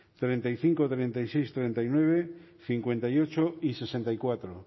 treinta y cinco treinta y seis treinta y nueve cincuenta y ocho y sesenta y cuatro